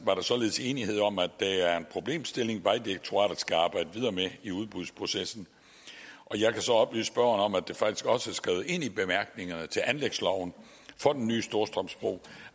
var således enighed om at det er en problemstilling som vejdirektoratet skal arbejde videre med i udbudsprocessen jeg kan så oplyse spørgeren om at det faktisk også er skrevet ind i bemærkningerne til anlægsloven for den nye storstrømsbro